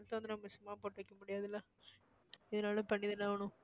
சும்மா போட்டு வைக்க முடியாதுல்ல எதனாலும் பண்ணிதான ஆகணும்